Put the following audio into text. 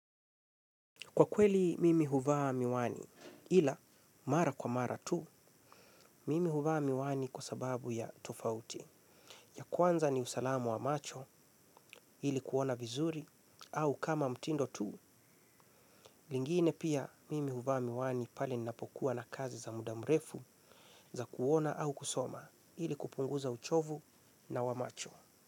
Kwa kweli mimi huvaa miwani, ila mara kwa mara tu, mimi huvaa miwani kwa sababu ya tofauti. Ya kwanza ni usalamu wa macho ili kuona vizuri au kama mtindo tu, lingine pia mimi huvaa miwani pali napokuwa na kazi za mudamrefu za kuona au kusoma ili kupunguza uchovu na wa macho.